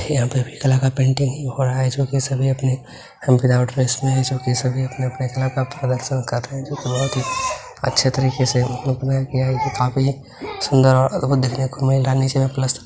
यहां पर अभी कलर का पेंटिंग हो रहा है और इस वक़्त सभी अपने अपने कला की प्रदर्शन कर रहे है जो की बोहोत सुंदर और अद्भुत देखने को मिल रहा है और नीचे मे प्लसतर--